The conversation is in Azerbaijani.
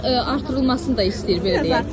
Artıq artırılmasını da istəyir, belə deyək.